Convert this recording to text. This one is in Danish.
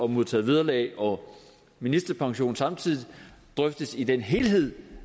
modtage vederlag og ministerpension samtidig drøftes i den helhed